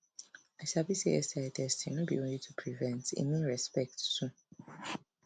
i sabi say sti testing no be only to prevent e mean respect too